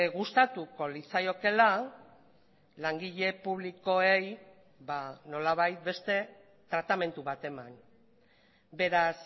gustatuko litzaiokeela langile publikoei nolabait beste tratamendu bat eman beraz